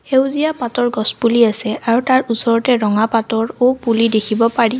সেউজীয়া পাতৰ গছপুলি আছে আৰু তাৰ ওচৰতে ৰঙা পাতৰ ঔ পুলি দেখিব পাৰি।